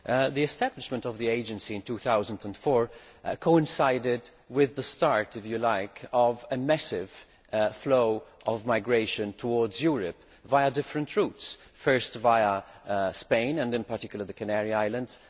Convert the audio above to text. The establishment of the Agency in 2004 coincided with the start of a massive flow of migration towards Europe via different routes. First via Spain, and in particular the Canary Islands